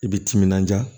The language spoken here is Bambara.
I bi timinanja